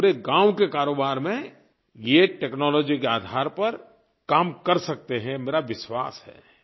आप पूरे गाँव के कारोबार में ये टेक्नोलॉजी के आधार पर काम कर सकते हैं मेरा विश्वास है